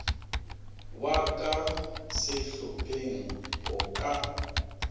wa ka sehlopheng go ka